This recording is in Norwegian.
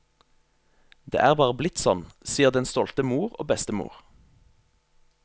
Det er bare blitt sånn, sier den stolte mor og bestemor.